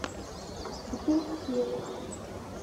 апельсин